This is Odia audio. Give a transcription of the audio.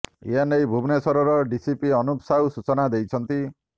ଏ ନେଇ ଭୁବନେଶ୍ବର ଡିସିପି ଅନୁପ ସାହୁ ସୂଚନା ଦେଇଛନ୍ତି